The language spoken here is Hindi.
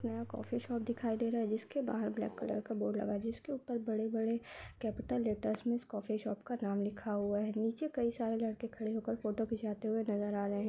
यह कॉफी शॉप दिखाई दे रही है। जिसके बाहर ब्लैक कलर का बोर्ड जिसके ऊपर बड़े-बड़े कैपिटल लेटर्स मे कॉफी शॉप का नाम लिखा हुआ है। नीचे कई सारे लड़के खड़े हो कर फोटो खिचवाते हुए नजर आ रहै है।